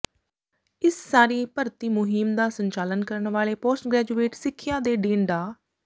ਇਸ ਸਾਰੀ ਭਰਤੀ ਮੁਹਿੰਮ ਦਾ ਸੰਚਾਲਨ ਕਰਨ ਵਾਲੇ ਪੋਸਟ ਗ੍ਰੈਜੂਏਟ ਸਿੱਖਿਆ ਦੇ ਡੀਨ ਡਾ